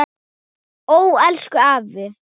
Ó, elsku afi.